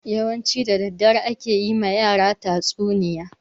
Yawanci da daddare ake yi ma yara tatsuniya.